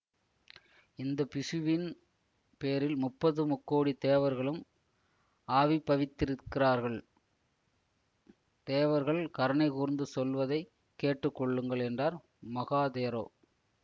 இந்த பிக்ஷுவின் பேரில் முப்பத்து முக்கோடி தேவர்களும் ஆவிர்ப்பவித்திருக்கிறார்கள் தேவர்கள் கருணை கூர்ந்து சொல்வதை கேட்டு கொள்ளுங்கள் என்றார் மகாதேரோ